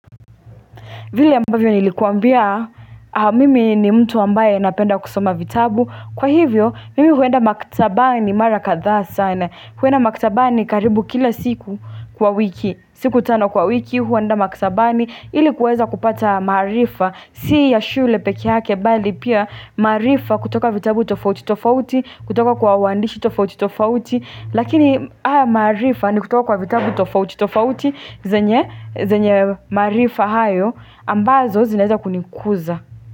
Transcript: Vile ambavyo nilikuambia mimi ni mtu ambaye napenda kusoma vitabu. Kwa hivyo mimi huenda maktabani mara kadhaa sana. Huenda maktabani karibu kila siku kwa wiki. Siku tano kwa wiki huenda maktabani ili kuweza kupata maarifa. Si ya shule peke yake bali pia maarifa kutoka vitabu tofauti tofauti kutoka kwa waandishi tofauti tofauti. Lakini haya maarifa ni kutoka kwa vitabu tofauti tofauti zenye maarifa hayo. Ambazo zinaeza kunikuza.